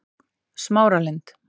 Smáralind